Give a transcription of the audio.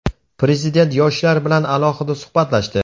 Prezident yoshlar bilan alohida suhbatlashdi.